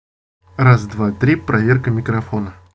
раз два три проверка микрофона